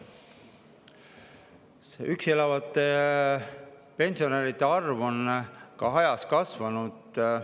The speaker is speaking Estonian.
Ka üksi elavate pensionäride arv on ajas kasvanud.